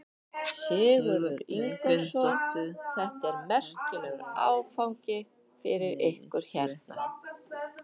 Sigurður Ingólfsson: Þetta er merkilegur áfangi fyrir ykkur hérna?